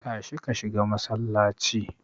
Tashi ka shiga masallaci.